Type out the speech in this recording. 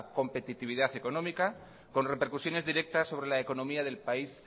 competitividad económica con repercusiones directas sobre la economía del país